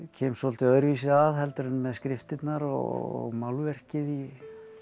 kem svolítið öðruvísi að heldur en með skriftirnar og málverkið í